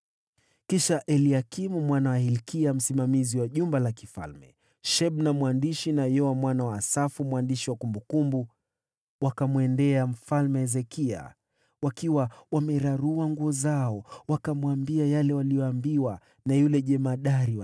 Kisha Eliakimu mwana wa Hilkia msimamizi wa jumba la kifalme, Shebna katibu, na Yoa mwana wa Asafu, mwandishi wakamwendea Hezekia, nguo zao zikiwa zimeraruliwa, na kumwambia yale jemadari wa jeshi aliyoyasema.